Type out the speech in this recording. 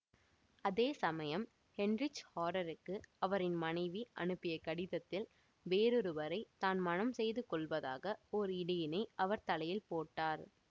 அதே சமயம் ஹெயின்ரிச் ஹாரெருக்கு அவரின் மனைவி அனுப்பிய கடிதத்தில் வேறொருவரை தான் மணம் செய்து கொள்வதாக ஓர் இடியினை அவர் தலையில் போட்டார்